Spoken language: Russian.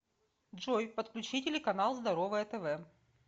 джой подключи телеканал здоровое тв